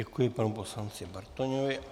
Děkuji panu poslanci Bartoňovi.